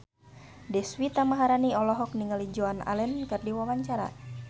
Deswita Maharani olohok ningali Joan Allen keur diwawancara